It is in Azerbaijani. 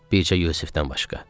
Bircə Yusifdən başqa.